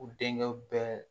U denkɛw bɛɛ